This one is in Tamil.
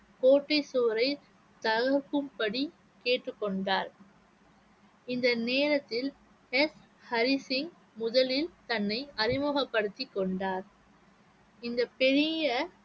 கோட்டை சுவரை தகர்க்கும்படி கேட்டுக் கொண்டார் இந்த நேரத்தில் எஸ் ஹரி சிங் முதலில் தன்னை அறிமுகப்படுத்திக் கொண்டார் இந்தப் பெரிய